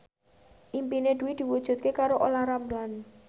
impine Dwi diwujudke karo Olla Ramlan